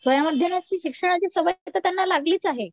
स्वयं अध्यनाची शिक्षणाची सवय तर त्यांना लागली च आहे